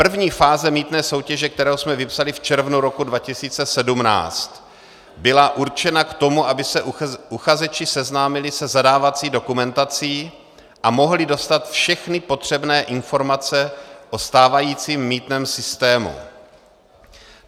První fáze mýtné soutěže, kterou jsme vypsali v červnu roku 2017, byla určena k tomu, aby se uchazeči seznámili se zadávací dokumentací a mohli dostat všechny potřebné informace o stávajícím mýtném systému.